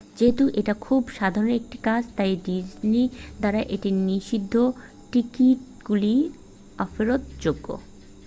যেহেতু এটা খুব সাধারণ একটা কাজ তাই ডিজনি দ্বারা এটি নিষিদ্ধঃ টিকিটগুলি অফেরৎযোগ্য